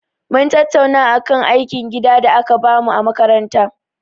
Mun tattauna akan aikin gida da aka bamu a makaranta.